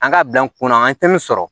An ka bila n kun na an tɛ min sɔrɔ